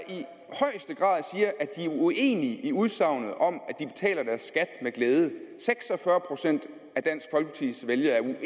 uenige i udsagnet om at med glæde seks og fyrre procent af dansk folkepartis vælgere er